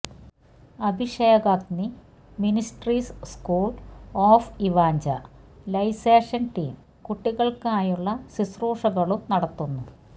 Abhishekagni ministries school of evangelisation team കുട്ടികള്ക്കായുള്ള ശുശ്രൂഷകളും നടത്തുന്നു